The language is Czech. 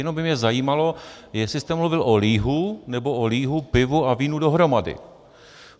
Jenom by mě zajímalo, jestli jste mluvil o lihu, nebo o lihu, pivu a vínu dohromady.